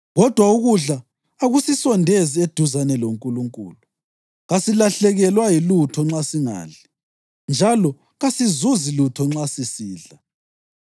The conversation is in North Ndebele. Kodwa ukudla akusisondezi eduzane loNkulunkulu; kasilahlekelwa yilutho nxa singadli, njalo kasizuzi lutho nxa sisidla.